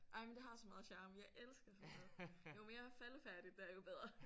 Jamen det har så meget charme jeg elsker sådan noget jo mere faldefærdigt det er jo bedre